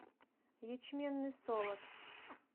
ячменный солод